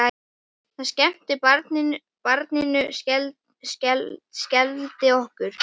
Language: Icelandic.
Það sem skemmti barninu skelfdi okkur.